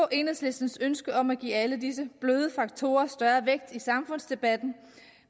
enhedslistens ønske om at give alle disse bløde faktorer større vægt i samfundsdebatten